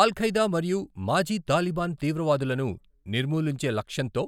అల్ Qaeda మరియు మాజీ Taliban తీవ్రవాదులను నిర్మూలించే లక్ష్యంతో